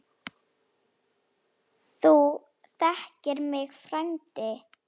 Þú þekkir mig frændi.